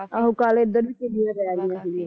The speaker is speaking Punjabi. ਆਹੋ, ਕੱਲ ਇਧਰ ਵੀ ਕਣੀਆਂ ਪੈ ਰਹੀਆਂ ਸੀਗੀਆਂ